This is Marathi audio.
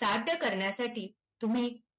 साध्य कऱण्यासाठी तुम्ही